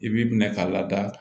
I b'i minɛ ka lada